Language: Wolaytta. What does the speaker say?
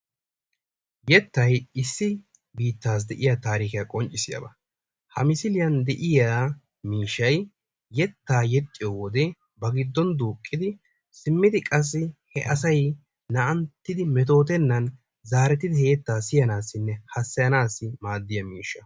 Yettay issi biitasi deiya tarikiya qonccissiyaba. Ha misiliyan deiya miishshay yetta yexxiyo wode ba giddon duuqqidi simmidi asay naa'anttidi metottenan zarettidi he yetta siyanasinne hasayanasi maadiya miishsha.